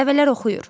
Nəvələr oxuyur.